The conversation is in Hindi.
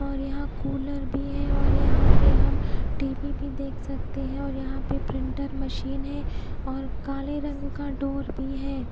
और यहा कूलर भी है और यहा पर हम टी_वी भी देख सकते है और यहा पे प्रिंटर मशीन है और काले रंग का डोर भी है।